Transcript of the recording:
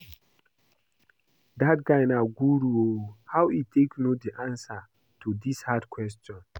Dat guy na guru oo, how e take no the answer to dis hard question?